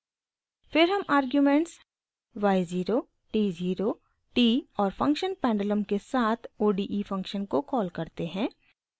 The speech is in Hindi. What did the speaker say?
फिर हम आर्ग्युमेंट्स y 0 t 0 t और फंक्शन पेंडुलम के साथ ode फंक्शन को कॉल करते हैं